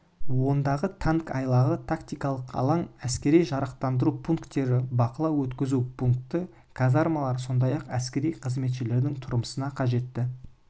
ондағы танк айлағы тактикалық алаң әскери жарақтандыру пунктері бақылау-өткізу пункті казармалар сондай-ақ әскери қызметшілердің тұрмысына қажетті